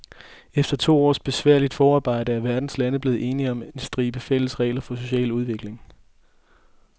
Efter to års besværligt forarbejde er verdens lande blevet enige om en stribe fælles regler for social udvikling.